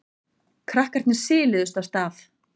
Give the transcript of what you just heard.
Krakkarnir siluðust af stað.